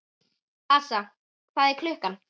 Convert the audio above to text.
Assa, hvað er klukkan?